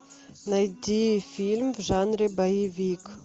найди фильм в жанре боевик